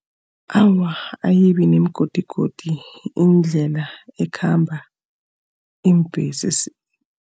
Awa, ayibi nemigodigodi indlela ekhamba iimbhesi.